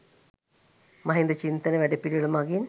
මහින්ද චින්තන වැඩපිළිවෙළ මගින්